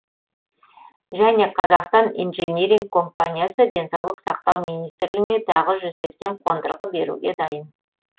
және қазақстан инжиниринг компаниясы денсаулық сақтау министрлігіне тағы жүз сексен қондырғы беруге дайын